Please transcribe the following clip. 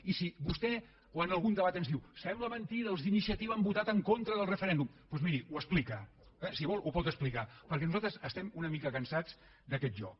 i si vostè o en algun debat ens diu sembla mentida els d’iniciativa han votat en contra del referèndum doncs miri ho explica eh si vol ho pot explicar perquè nosaltres estem una mica cansats d’aquest joc